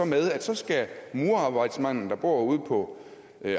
med at så skal murerarbejdsmanden der bor ude på